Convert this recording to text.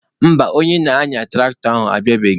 Mba, onye na-anya tụraktọ abịabeghị